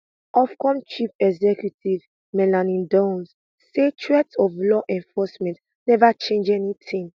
ofcome chief executive melanie dawes say threats of law enforcement neva change anytin